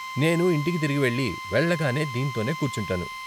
నేను ఇంటికి తిరిగి వెళ్లి, వెళ్ళగానే దీంతోనే కూర్చుంటాను.